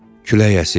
Külək əsir.